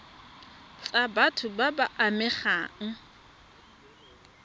tsa batho ba ba amegang